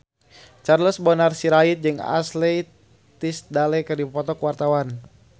Charles Bonar Sirait jeung Ashley Tisdale keur dipoto ku wartawan